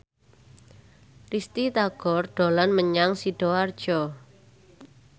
Risty Tagor dolan menyang Sidoarjo